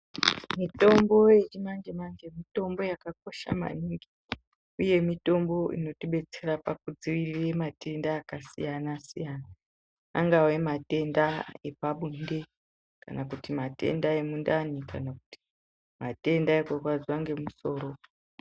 Mutombo yechi manje manje mitombo yaka kosha maningi uye mitombo inoti betsera paku dzivirira matenda aka siyana siyana angave matenda epa bonde kana kuti matenda emundani kana kuti matenda eku rwadziwa ne musoro.